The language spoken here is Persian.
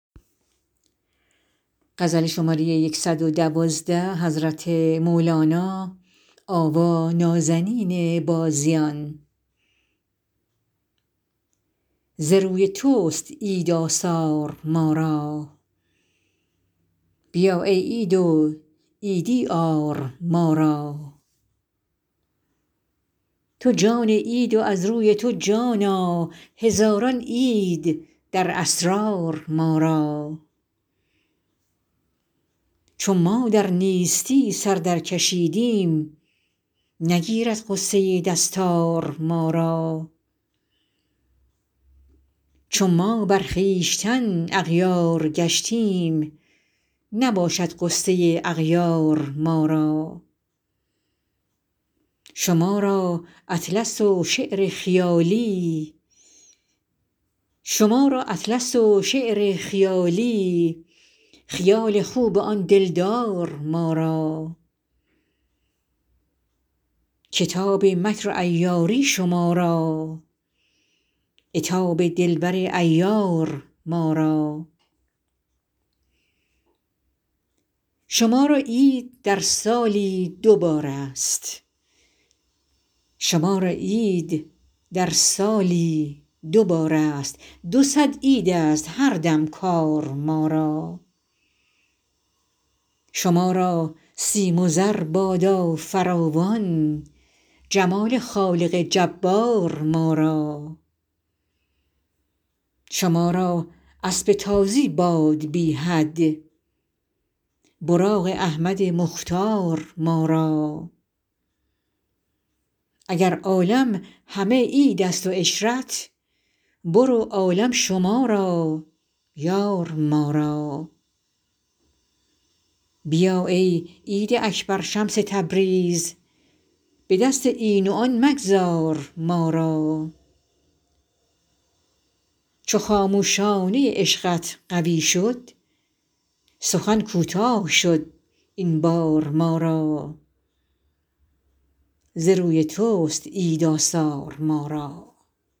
ز روی تست عید آثار ما را بیا ای عید و عیدی آر ما را تو جان عید و از روی تو جانا هزاران عید در اسرار ما را چو ما در نیستی سر درکشیدیم نگیرد غصه دستار ما را چو ما بر خویشتن اغیار گشتیم نباشد غصه اغیار ما را شما را اطلس و شعر خیالی خیال خوب آن دلدار ما را کتاب مکر و عیاری شما را عتاب دلبر عیار ما را شما را عید در سالی دو بارست دو صد عیدست هر دم کار ما را شما را سیم و زر بادا فراوان جمال خالق جبار ما را شما را اسب تازی باد بی حد براق احمد مختار ما را اگر عالم همه عیدست و عشرت برو عالم شما را یار ما را بیا ای عید اکبر شمس تبریز به دست این و آن مگذار ما را چو خاموشانه عشقت قوی شد سخن کوتاه شد این بار ما را